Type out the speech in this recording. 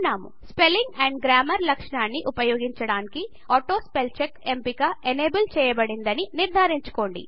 spelling and grammar లక్షణాన్ని ఉపయోగించడానికి auto spell check ఎంపిక ఎనేబుల్ చేయబడిందని నిర్ధారించుకోండి